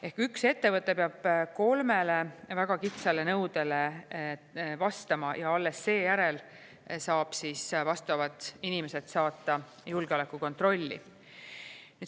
Ehk üks ettevõte peab kolmele väga kitsale nõudele vastama ja alles seejärel saab vastavad inimesed saata julgeolekukontrolli.